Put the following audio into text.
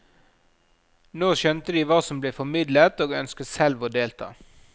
Nå skjønte de hva som ble formidlet, og ønsket selv å delta.